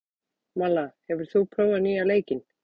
Malla, hefur þú prófað nýja leikinn?